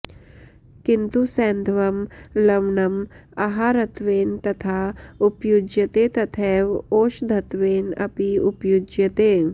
किन्तु सैन्धवं लवणम् आहारत्वेन यथा उपयुज्यते तथैव औषधत्वेन अपि उपयुज्यते